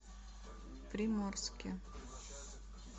приморске